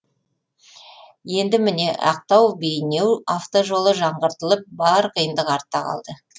енді міне ақтау бейнеу автожолы жаңғыртылып бар қиындық артта қалды